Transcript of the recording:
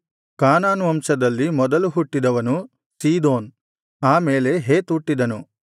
ಕಾನಾನ್ ವಂಶದಲ್ಲಿ ಮೊದಲು ಹುಟ್ಟಿದವನು ಸೀದೋನ್ ಆ ಮೇಲೆ ಹೇತ್ ಹುಟ್ಟಿದನು